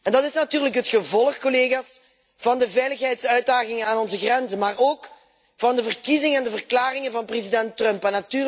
Dat is natuurlijk het gevolg van de veiligheidsuitdagingen aan onze grenzen, maar ook van de verkiezing en de verklaringen van president Trump.